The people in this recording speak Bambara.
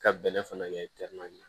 Ka bɛlɛ fana kɛ